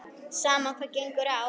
Sama hvað á gengur.